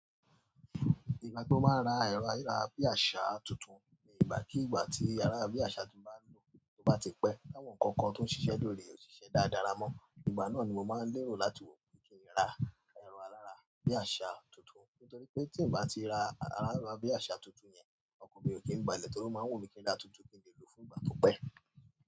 Ìgbà tí ó máa ń ra ẹ̀rọ ayára bí àsá tuntun ni ìgbà kí ìgbà tí ero ayara bí àsá ti mo bá n lo to ba ti pẹ́. Láwọn ǹkan kan tó ń ṣiṣẹ́ lórí òṣìṣẹ́ dáadáa ramo. Ìgbà náà ni mo máa ń lérò láti wò pe kí n rà ẹ̀rọ ayára bí àsá tuntun. Nítorí pé tí n bá ti ra ayára bí àsá tuntun yẹn, ọkọn mi ò kí ń gbàlé torí ó máa wù mí kí n ra tuntun kí n lè lò fún ìgbà tó pẹ́.